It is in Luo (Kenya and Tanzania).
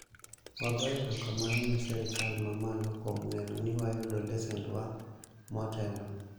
wagoyo eromamano ne sirikal ma malo kuom neno ni wayudo lesend wa motelo